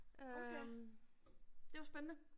Øh det jo spændende